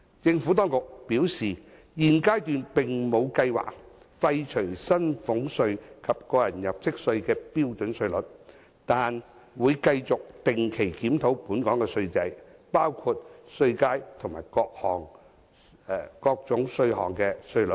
政府當局表示，現階段並無計劃廢除薪俸稅及個人入息課稅的標準稅率，但會繼續定期檢討本港的稅制，包括稅階及各種稅項的稅率。